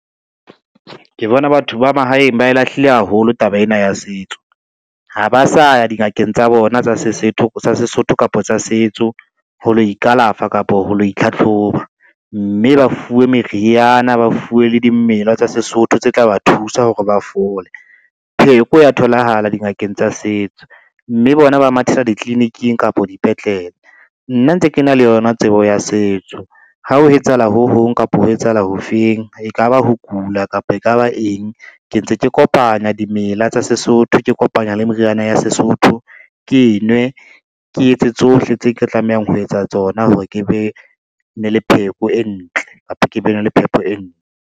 Ke bona batho ba mahaeng ba e lahlile haholo taba ena ya setso. Ha ba sa ya dingakeng tsa bona tsa Sesotho kapa tsa setso, ho lo ikalafe kapo ho lo itlhatlhoba, mme ba fuwe meriana, ba fuwe le dimela tsa Sesotho tse tla ba thusa hore ba fole. Pheko ya tholahala dingakeng tsa setso, mme bona ba mathela ditliliniking kapa dipetlele, nna ntse ke na le yona tsebo ya setso. Ha ho etsahala ho hong kapa ho etsahala ho feng, e ka ba ho kula, kapa e ka ba eng, ke ntse ke kopanya dimela tsa Sesotho ke kopanya le meriana ya Sesotho, ke e nwe ke etse tsohle tse ke tla tlamehang ho etsa tsona hore ke be ne le pheko e ntle kapa ke be na le phepo e ntle.